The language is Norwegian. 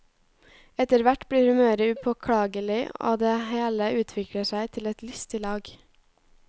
Etter hvert blir humøret upåklagelig, og det hele utvikler seg til et lystig lag.